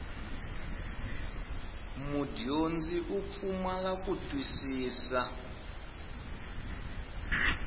mudyondzi u pfumala ku twisisa